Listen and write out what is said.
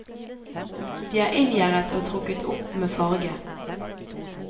De er inngjerdet og trukket opp med farge.